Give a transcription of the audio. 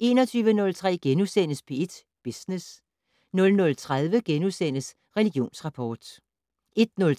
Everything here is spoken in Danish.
21:03: P1 Business * 00:30: Religionsrapport * 01:03: